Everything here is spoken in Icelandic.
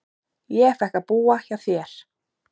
Ég fékk að búa hjá þér.